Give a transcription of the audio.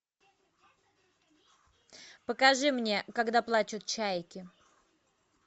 покажи мне когда плачут чайки